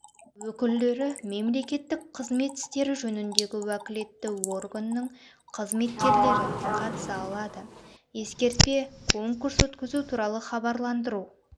өкілдері мемлекеттік қызмет істері жөніндегі уәкілетті органның қызметкерлері қатыса алады ескертпе конкурс өткізу туралы хабарландыру